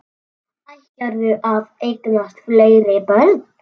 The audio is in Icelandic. Ætlarðu að eignast fleiri börn?